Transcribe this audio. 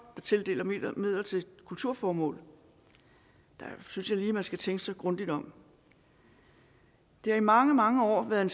der tildeler midler til kulturformål der synes jeg lige at man skal tænke sig grundigt om det har i mange mange år været en